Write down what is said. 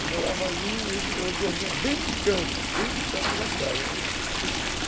Eu morava ali e eu dormia bem no canto, bem no canto da casa, né